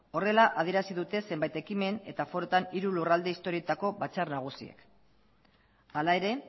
horrela adierazi dute zenbait ekimen eta foruetan hiru lurralde historietako batzar nagusiek hala ere